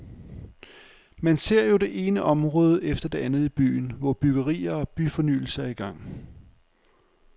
Man ser jo det ene område efter det andet i byen, hvor byggerier og byfornyelse er i gang.